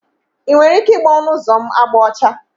Ị nwere ike igba ọnụ ụzọ m agba ọcha?